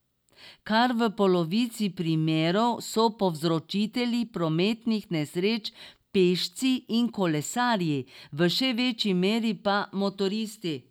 Kar v polovici primerov so povzročitelji prometnih nesreč pešci in kolesarji, v še večji meri pa motoristi.